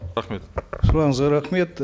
рахмет сұрағыңызға рахмет